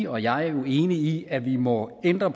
og jeg jo enig i at vi må ændre